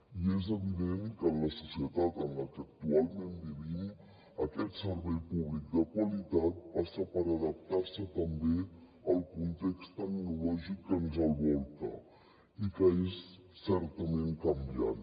i és evident que en la societat en la que actualment vivim aquest servei públic de qualitat passa per adaptar se també al context tecnològic que ens envolta i que és certament canviant